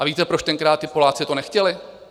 A víte, proč tenkrát ti Poláci to nechtěli?